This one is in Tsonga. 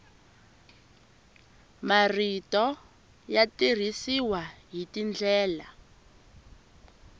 marito ya tirhisiwa hi tindlela